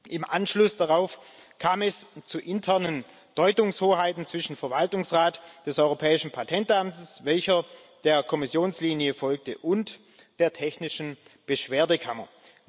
Im Anschluss daran kam es zu internen Deutungshoheiten zwischen dem Verwaltungsrat des Europäischen Patentamts, welcher der Kommissionslinie folgte, und der technischen Beschwerdekammer.